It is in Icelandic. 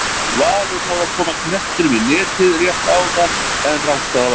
Valur náði að koma knettinum í netið rétt áðan en rangstaða var dæmd.